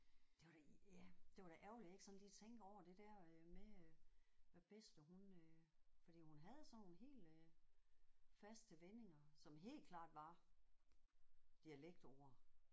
Det var da ja det var da ærgerligt jeg ikke sådan lige tænker over det der øh med øh hvad bedste hun øh fordi hun havde sådan nogle helt øh faste vendinger som helt klart var dialektord